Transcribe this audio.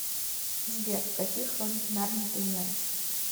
сбер какие хроники нарнии ты знаешь